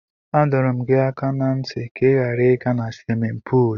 Adọrọ m gị aka ná ntị ka ị ghara ịga na swimin puul.